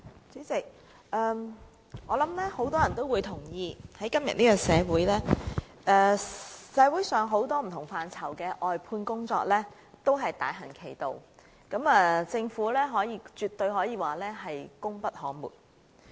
主席，我相信很多人也同意，今時今日社會上不同範疇的外判工作正大行其道，政府絕對稱得上是功不可沒。